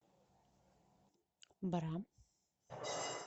бра